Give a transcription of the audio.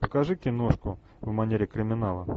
покажи киношку в манере криминала